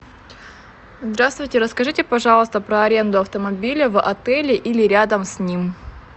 здравствуйте расскажите пожалуйста про аренду автомобиля в отеле или рядом с ним